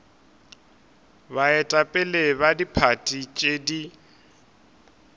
baetapele ba diphathi tše di